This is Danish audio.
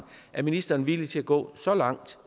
er ministeren villig til at gå så langt